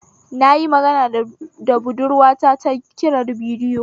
Na yi magana da budurwata ta kirar bidiyo